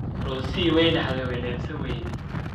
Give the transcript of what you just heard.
Rose way naxday - way neefsan wayday.